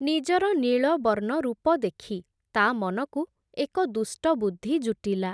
ନିଜର ନୀଳବର୍ଣ୍ଣ ରୂପ ଦେଖି, ତା’ ମନକୁ ଏକ ଦୁଷ୍ଟ ବୁଦ୍ଧି ଜୁଟିଲା ।